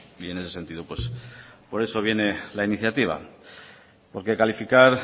y en ese sentido por eso viene la iniciativa porque calificar